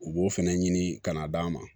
U b'o fɛnɛ ɲini ka na d'an ma